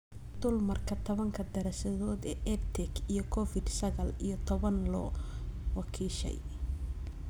Dulmarka tobanka daraasadood ee EdTech iyo Covid sagaal iyo tobbaan loo wakiishay